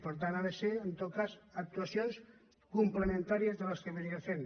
per tant han de ser en tot cas actuacions complementàries a les que ja es feien